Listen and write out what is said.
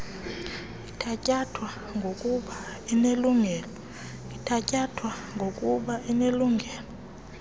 ithatyathwa bgokuba inelungelo